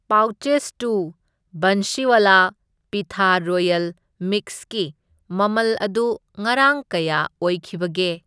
Pouches two Bansiwala Peetha royal ꯃꯤꯛꯁꯀꯤ ꯃꯃꯜ ꯑꯗꯨ ꯉꯔꯥꯡ ꯀꯌꯥ ꯑꯣꯏꯈꯤꯕꯒꯦ?